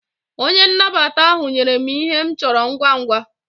Onye nnabata ahu nyere m Ihe m choro ngwa ngwa